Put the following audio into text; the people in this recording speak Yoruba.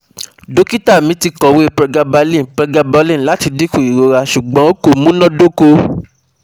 Dọkita mi ti kọwe Pregabalin Pregabalin lati dinku irora, ṣugbọn ko munadoko